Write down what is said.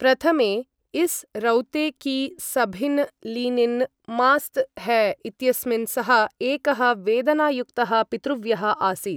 प्रथमे, इस् रौते की सभिन् लिनिन् मास्त् है इत्यस्मिन् सः, एकः वेदनायुक्तः पितृव्यः आसीत्।